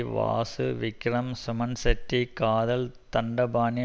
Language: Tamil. வாசு விக்ரம் சுமன் ஷெட்டி காதல் தண்டபாணி